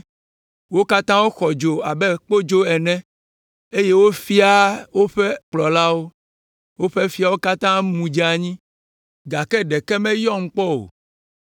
Wo katã woxɔ dzo abe kpodzo ene, eye wofiaa woƒe kplɔlawo. Woƒe fiawo katã mu dze anyi, gake ɖeke meyɔm kpɔ o.